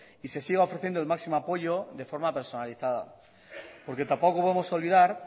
y se siga ofreciendo el máximo apoyo de forma personalizada porque tampoco vamos a olvidar